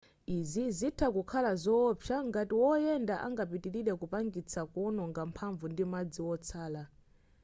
izi zitha kukhala zowopsa ngati woyenda angapitilire kupangitsa kuononga mphamvu ndi madzi wotsala